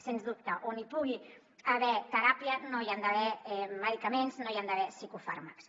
sens dubte on hi pugui haver teràpia no hi han d’haver medicaments no hi han d’haver psicofàrmacs